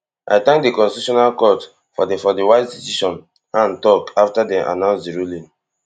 i tank di constitutional court for di for di wise decision han tok afta dem announce di ruling